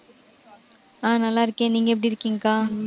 ஆஹ் நல்லா இருக்கேன். நீங்க எப்படி இருக்கீங்கக்கா?